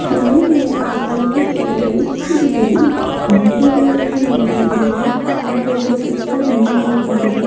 ನಾನು ನೋಡಿದ ಪ್ರಕಾರ ಈ ಫೋಟೋ ದಲ್ಲಿ ಬರಿ ಬಂಡೆಗಳನ್ನೇ ನೋಡಬಹುದು ನೀವು ಹಾಗೆ ಇದರ ಸುತ್ತ ಬಂಡೆಗಳೇ ತುಂಬಿದೆ --